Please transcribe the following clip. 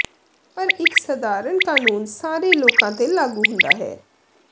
ਪਰ ਇੱਕ ਸਧਾਰਨ ਕਾਨੂੰਨ ਸਾਰੇ ਲੋਕਾਂ ਤੇ ਲਾਗੂ ਹੁੰਦਾ ਹੈ